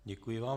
Děkuji vám.